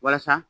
Walasa